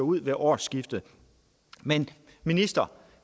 ud ved årsskiftet men minister